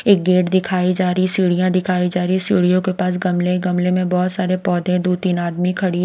एक गेट दिखाई जा रही सीढ़ियां दिखाई जा रही है सीढ़ियों के पास गमले गमले में बहुत सारे पौधे दो-तीन आदमी खड़े--